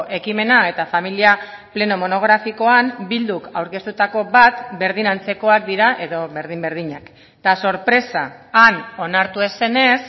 ekimena eta familia pleno monografikoan bilduk aurkeztutako bat berdin antzekoak dira edo berdin berdinak eta sorpresa han onartu ez zenez